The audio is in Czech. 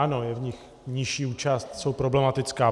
Ano, je v nich nižší účast, jsou problematická.